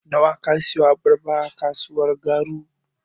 Nawa ka siyo abarba a kasuwar Garu.